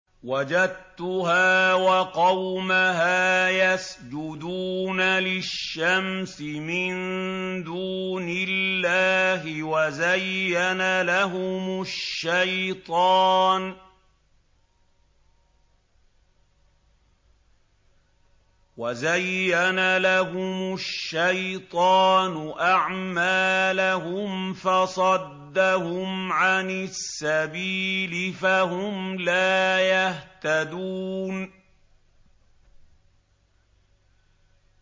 وَجَدتُّهَا وَقَوْمَهَا يَسْجُدُونَ لِلشَّمْسِ مِن دُونِ اللَّهِ وَزَيَّنَ لَهُمُ الشَّيْطَانُ أَعْمَالَهُمْ فَصَدَّهُمْ عَنِ السَّبِيلِ فَهُمْ لَا يَهْتَدُونَ